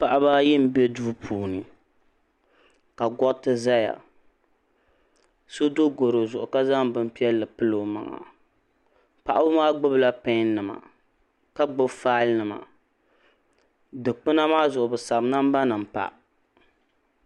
Paɣaba ayi m be duu puuni ka goriti zaya so do goro zuɣu ka zaŋ bini piɛlli pili o maŋa paɣaba maa gbibila peni nima ka gbibi faali nima dikpina maa zuɣu bɛ sabi namba nima pa.